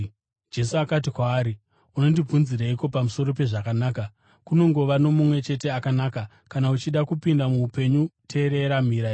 Jesu akati kwaari, “Unondibvunzireiko pamusoro pezvakanaka? Kunongova noMumwe chete akanaka. Kana uchida kupinda muupenyu, teerera mirayiro.”